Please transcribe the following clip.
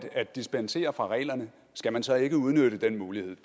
at dispensere fra reglerne skal man så ikke udnytte den mulighed